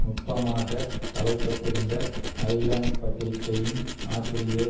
நுட்பமாக தலைப்பட்டிருந்த ஐலண்ட் பத்திரிகையின் ஆசிரியர்